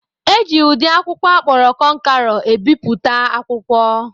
Eji ụdị akwụkwọ akpọrọ kọnkerọ ebipụta akwụkwọ.